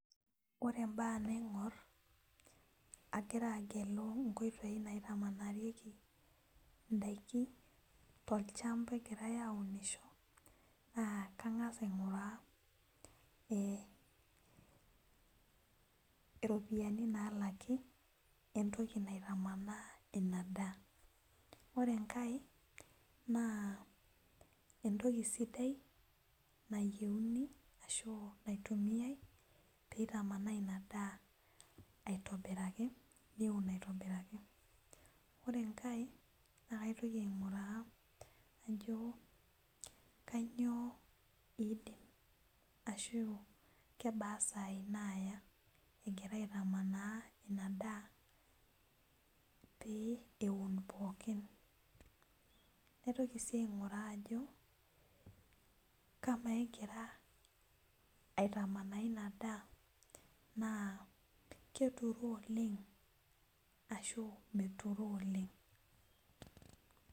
Ore mbaa naingor agira agelu nkoitoi naitamanarieki ndakini tolchamba egirai aunisho na kangasa ainguraa e iropiyiani nalaki we ntoki naitamanaa inadaa ore enkae na entoki sidai nayiauni peitamanaa inadaa neun aitobiraki ore enkae na kaitoki ainguraa najobkanyio naidimbashu kebaa sai naya egira aitamanaa inadaa peuni pookin naitoki si ainguraa ajo ama egira aitamanaa ina daa keturoo oleng ana meturoo oleng.